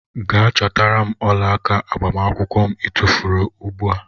Gee chọtara mụ ọlaaka agbamakwụkwọ mụ i tufuru ugbua!!.